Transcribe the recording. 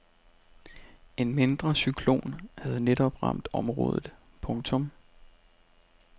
En mindre cyklon havde netop ramt området. punktum